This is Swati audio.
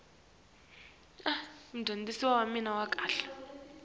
esekele imibono yakhe